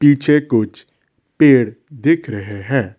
पीछे कुछ पेड़ दिख रहे हैं।